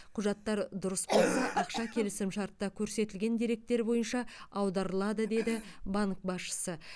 құжаттар дұрыс болса ақша келісімшартта көрсетілген деректер бойынша аударылады деді банк басшысы